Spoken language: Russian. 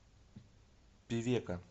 певека